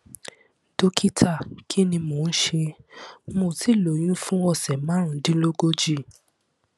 dókítà kí ni mò ń ṣe mo ti lóyún fún ọsẹ márùndínlógójì